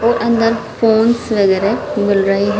और अंदर फोंस वगैरह मिल रहे हैं।